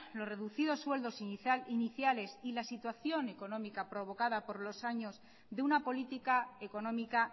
los reducidos sueldos iniciales y la situación económica provocada por los años de una política económica